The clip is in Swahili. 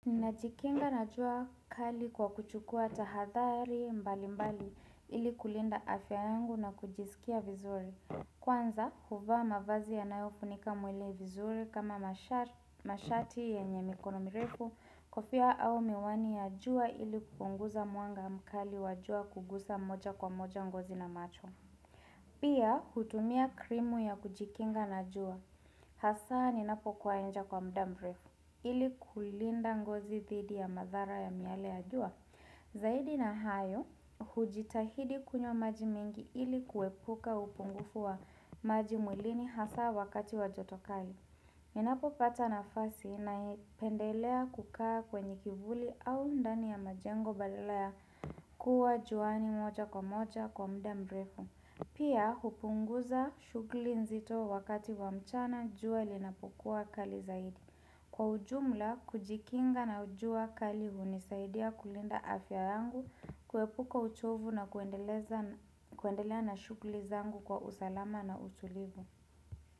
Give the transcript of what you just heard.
Ninajikinga na jua kali kwa kuchukua tahadhari mbali mbali ili kulinda afya yangu na kujisikia vizuri. Kwanza, huvaa mavazi yanayofunika mwele vizuri kama mashati yenye mikono mirefu, kofia au miwani ya jua ili kupunguza mwanga mkali wa jua kugusa moja kwa moja ngozi na macho. Pia, hutumia krimu ya kujikinga na jua. Hasa, ninapo kuw nje kwa muda mbrefu. Ili kulinda ngozi dhidi ya madhara ya miale ya jua. Zaidi na hayo, hujitahidi kunywa maji mingi ili kuepuka upungufu wa maji mwilini hasa wakati wa jotokali. Ninapo pata nafasi napendelea kukaa kwenye kivuli au ndani ya majengo badala ya kuwa juani moja kwa moja kwa muda mrefu. Pia hupunguza shughuli nzito wakati wa mchana jua linapokua kali zaidi. Kwa ujumla, kujikinga na jua kali hunisaidia kulinda afya yangu, kuepuka uchovu na kuendelea na shughuli zangu kwa usalama na utulivu.